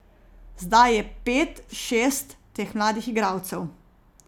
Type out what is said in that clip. Zdaj je pet, šest teh mladih igralcev.